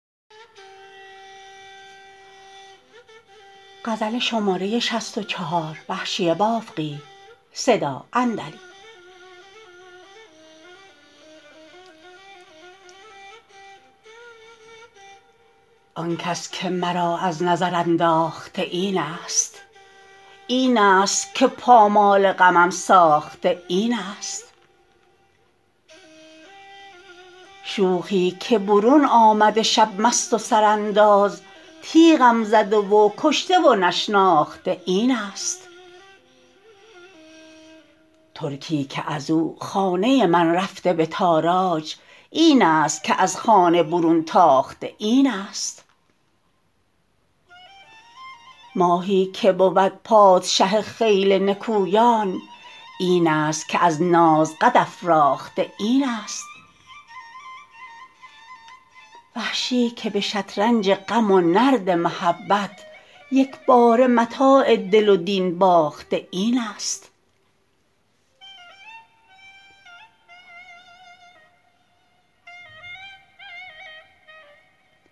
آنکس که مرا از نظر انداخته اینست اینست که پامال غمم ساخته اینست شوخی که برون آمده شب مست و سرانداز تیغم زده و کشته و نشناخته اینست ترکی که ازو خانه من رفته به تاراج اینست که از خانه برون تاخته اینست ماهی که بود پادشه خیل نکویان اینست که از ناز قد افراخته اینست وحشی که به شطرنج غم و نرد محبت یکباره متاع دل و دین باخته اینست